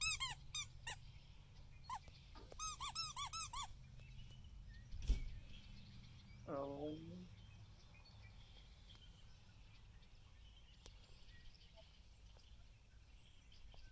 अं sir replacement piece ची delivery तुम्हाला साधारण one week पर्यत मिळेल त्याच्या आधी delivery possible नाही होणार sir कारण तुम्हाला आता order place करायची असेल तर तुम्हाला processing प्रमाणे amazon वर